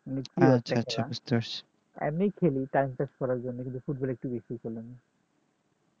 এমনি খেলি time pass করার জন্য কিন্তু football একটু বেশি খেলি